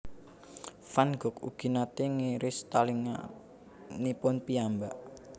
Van Gogh ugi naté ngiris talinganipun piyambak